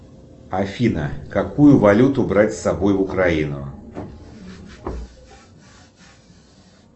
афина какую валюту брать с собой в украину